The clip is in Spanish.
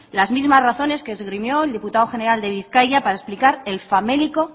las mismas razones que esgrimió el diputado general de bizkaia para explicar el famélico